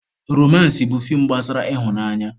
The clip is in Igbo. Romansị bụ feem gbasara ịhụnanya.